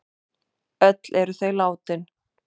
Öll eru þau látin.